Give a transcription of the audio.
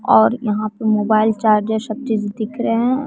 और यहां पे मोबाइल चार्ज सब चीज दिख रहे हैं।